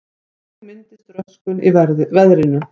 Þannig myndist röskun í verðinu.